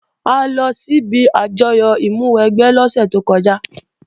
A lọ síbi àjọyọ̀ ìmúwẹgbẹ́ lọ́sẹ̀ tó kọjá